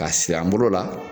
Ka siri an bolo la